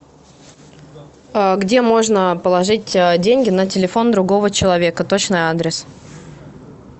где можно положить деньги на телефон другого человека точный адрес